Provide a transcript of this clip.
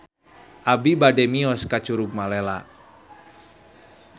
Abi bade mios ka Curug Malela